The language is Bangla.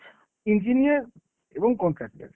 engineer এবং contractor।